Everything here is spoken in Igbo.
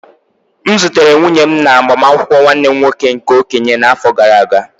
M zutere nwunye m na agbamakwụkwọ nwanne m nwoke nke okenye n'afọ gara aga.